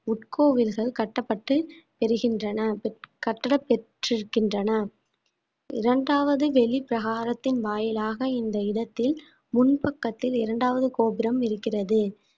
உட்கோவில்கள் கட்டப்பட்டு பெறுகின்றன கட்டடம் பெற்றிருக்கின்றன இரண்டாவது வெளிப் பிரகாரத்தின் வாயிலாக இந்த இடத்தில் முன் பக்கத்தில் இரண்டாவது கோபுரம் இருக்கிறது